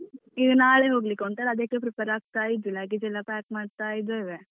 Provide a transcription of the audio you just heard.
ಈಗ ನಾಳೆ ಹೋಗ್ಲಿಕ್ಕುಂಟಲ ಅದಕ್ಕೆ prepare ಆಗ್ತಾ ಇದ್ದೇನೆ. luggage ಎಲ್ಲ pack ಮಾಡ್ತಾ ಇದ್ದೇವೆ.